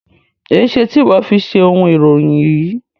Ẹ ṣè tì iwọ fi ṣẹ ọ̀un iròyìn yí?